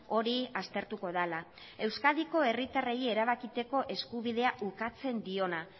hori aztertuko dela euskadiko herritarrei erabakitzeko eskubidea ukatzen diona